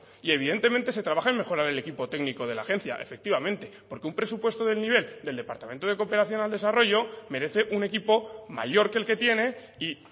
y evidentemente se trabaja en mejorar el equipo técnico de la agencia efectivamente porque un presupuesto del nivel del departamento de cooperación al desarrollo merece un equipo mayor que el que tiene y